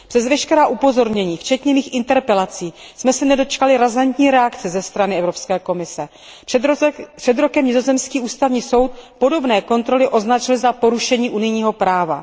Přes veškerá upozornění, včetně mých interpelací, jsme se nedočkali razantní reakce ze strany Evropské komise. Před rokem nizozemský ústavní soud podobné kontroly označil za porušení unijního práva.